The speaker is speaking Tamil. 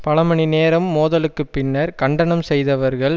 பல மணி நேரம் மோதலுக்கு பின்னர் கண்டனம் செய்தவர்கள்